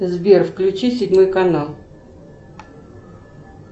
сбер включи седьмой канал